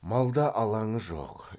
малда алаңы жоқ